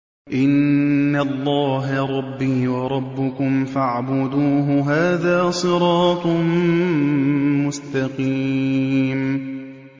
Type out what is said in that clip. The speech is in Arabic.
إِنَّ اللَّهَ رَبِّي وَرَبُّكُمْ فَاعْبُدُوهُ ۗ هَٰذَا صِرَاطٌ مُّسْتَقِيمٌ